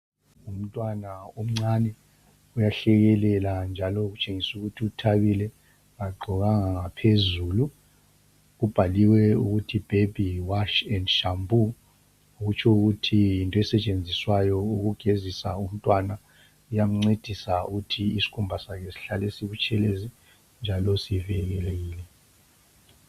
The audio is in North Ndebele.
Umntwana omncane uyahlekelela, njalo . Kutshengisu ukuthi uthabile. Kagqokanga ngaphezulu. Kubhaliwe ukuthi, Baby wash and shampoo. Kutsho ukuthi yinto esetshenziswayo, ukugezisa umntwana. Iyamncrdisa ukuthi isikhumba sakhe sihlale sibutshelezi, njalo sivikelekile.